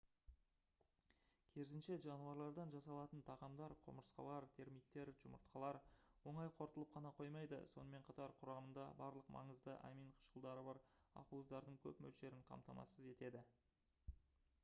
керісінше жануарлардан жасалатын тағамдар құмырсқалар термиттер жұмыртқалар оңай қорытылып қана қоймайды сонымен қатар құрамында барлық маңызды амин қышқылдары бар ақуыздардың көп мөлшерін қамтамасыз етеді